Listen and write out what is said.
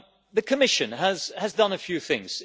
The Commission has done a few things.